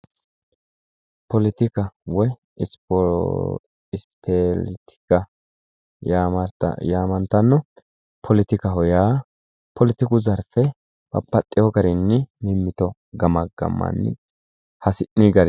Poletika woyi ispeertika yaamantanno poletikaho yaa poletiku zarfe babbaxxeyo garinni mimmito gamaggammanni hasi'ni garinni